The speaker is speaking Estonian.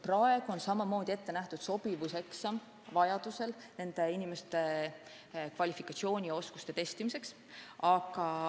Praegu on ette nähtud sobivuseksam vaid siis, kui on vaja nende inimeste kvalifikatsiooni ja oskusi testida.